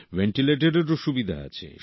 ভেন্টিলেটরেরও সুবিধা আছে